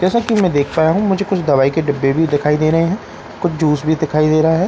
जैसा कि मैं देख पाया हूं मुझे कुछ दवाई के डिब्बे भी दिखाई दे रहे हैं कुछ जूस भी दिखाई दे रहा है।